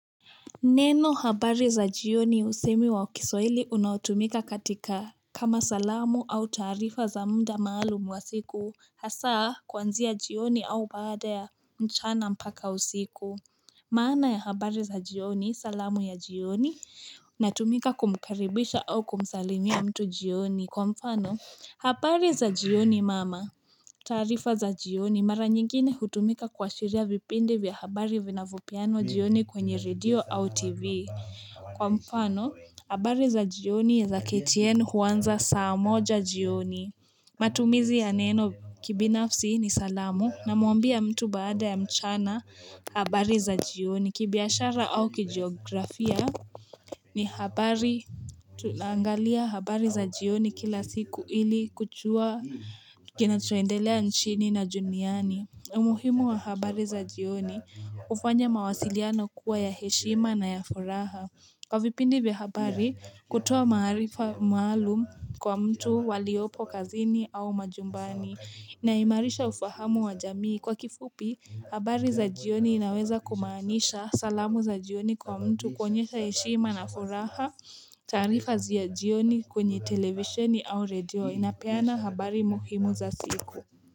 Neno habari za jioni usemi wa kiswahili unaotumika katika kama salamu au taarifa za mda maalum wa siku haswa kuanzia jioni au baada ya mchana mpaka usiku. Maana ya habari za jioni salamu ya jioni natumika kumkaribisha au kumsalimia mtu jioni kwa mfano. Habari za jioni mama, taarifa za jioni mara nyingine hutumika kuashiria vipindi vya habari vinavyopeana jioni kwenye redio au tv. Kwa mfano, habari za jioni ya za katienu huanza saa moja jioni. Matumizi ya neno kibinafsi ni salamu na muambia mtu baada ya mchana habari za jioni kibiashara au kijeografia ni habari. Tunaangalia habari za jioni kila siku ili kujua kinachoendelea nchini na duniani umuhimu wa habari za jioni ufanya mawasiliano kuwa ya heshima na ya furaha Kwa vipindi vya habari kutoa maarifa maalum kwa mtu waliopo kazini au majumbani Naimalisha ufahamu wa jamii kwa kifupi habari za jioni inaweza kumaanisha salamu za jioni kwa mtu kuonyesha heshima na furaha taarifa za jioni kwenye televisheni au redioni inapeana habari muhimu za siku.